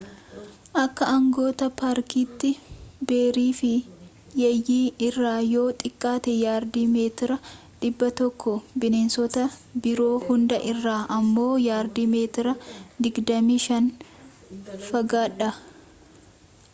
akka aangawoota paarkiitti ‘beerii’ fi yeeyyii irraa yoo xiqqaate yaardii/meetira 100 bineensota biroo hunda irraa ammoo yaardii/meetira 25 fagaadhaa!